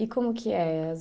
E como que é?